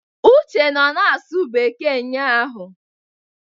Uche nọ na-asụ bekee ụnyahụ.